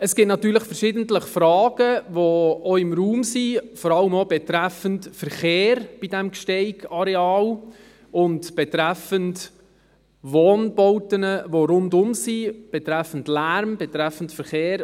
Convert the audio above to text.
Es gibt natürlich verschiedentlich Fragen, die auch im Raum sind, vor allem auch betreffend Verkehr bei diesem Gsteig-Areal und betreffend Wohnbauten, die rundherum sind, betreffend Lärm, betreffend Verkehr.